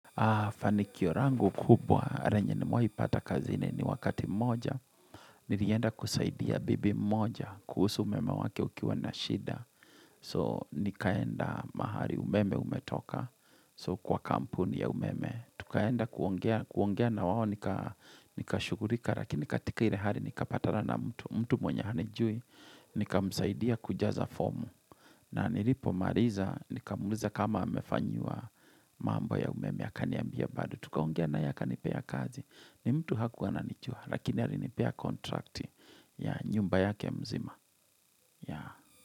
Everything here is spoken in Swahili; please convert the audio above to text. Ha, fanikio yangu kubwa, renye nimewahi ipata kazini ni wakati mmoja. Nilienda kusaidia bibi moja, kuhusu umeme wake ukiwa nashida. So, nikaenda mahali umeme umetoka, so kwa kampuni ya umeme. Tukaenda kuongea na wao, nika shugurika, lakini katika ile hari, nika patana na mtu mwenye hanijui, nika msaidia kujaza fomu. Na nilipo mariza, nikamwuliza kama amefanyiwa mambo ya umeme ya akaniambia bado. Tukaongea na yeye akanipea kazi. Ni mtu hakuwa anijua, lakini alinipea kontrakti ya nyumba yake mzima.